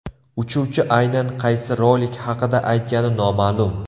Uchuvchi aynan qaysi rolik haqida aytgani noma’lum.